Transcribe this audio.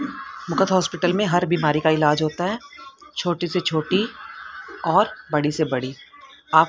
मुकत hospital मे हर बीमारी का इलाज होता है। छोटी से छोटी और बड़ी से बड़ी आप--